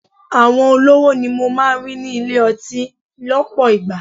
Àwọn olówó ni mo máa ń rí ní ilé-ọtí lọpọ ìgbà.